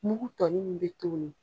Mugu tɔnin min be to' ye